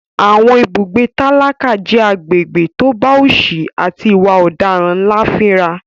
Àwọn ibùgbé tálákà jẹ́ agbègbè tó bá òsì àti ìwà ọ̀daràn ńlá fínra.